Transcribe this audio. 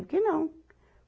Porque não.